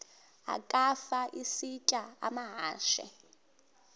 ukafa isitya amahashe